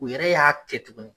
U yɛrɛ y'a kɛ tugun